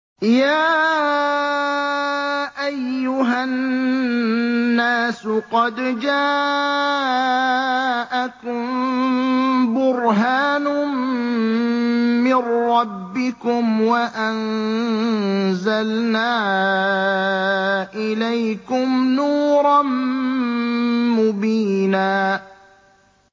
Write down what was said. يَا أَيُّهَا النَّاسُ قَدْ جَاءَكُم بُرْهَانٌ مِّن رَّبِّكُمْ وَأَنزَلْنَا إِلَيْكُمْ نُورًا مُّبِينًا